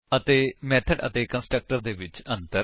ਅਤੇ ਮੇਥਡ ਅਤੇ ਕੰਸਟਰਕਟਰ ਦੇ ਵਿੱਚ ਅੰਤਰ